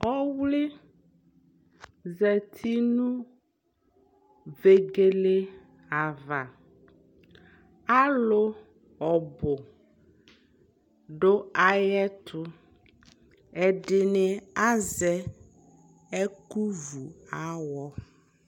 Ɔwli zati nʋ vegele ava Alʋ ɔbʋ dʋ ayɛtʋ Ɛdini azɛ ɛkʋvʋ awɔ